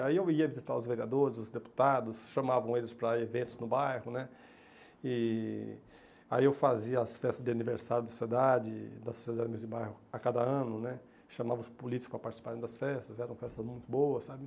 Aí eu ia visitar os vereadores, os deputados, chamavam eles para eventos no bairro, né, e aí eu fazia as festas de aniversário da sociedade, das sociedades de bairro a cada ano, né, chamava os políticos para participarem das festas, eram festas muito boas, sabe?